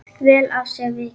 Vel af sér vikið.